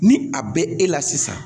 Ni a bɛ e la sisan